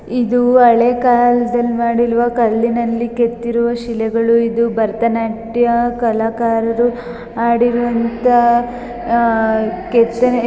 ಇದು ಹಳೆಕಾಲದಲ್ಲಿ ಮಾಡಿರುವ ಕಲ್ಲಿನಲ್ಲಿ ಕೇತಿರುವ ಶಿಲೆಗಳು ಇದು ಭರತನಾಟ್ಯ ಕಲಕರಾದ ಅಡಿರುವಂತಹ ಕೇತನೆಗಳು---